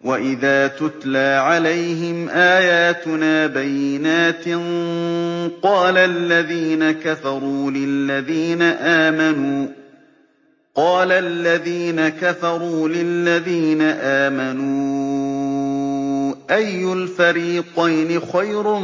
وَإِذَا تُتْلَىٰ عَلَيْهِمْ آيَاتُنَا بَيِّنَاتٍ قَالَ الَّذِينَ كَفَرُوا لِلَّذِينَ آمَنُوا أَيُّ الْفَرِيقَيْنِ خَيْرٌ